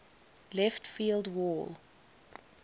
left field wall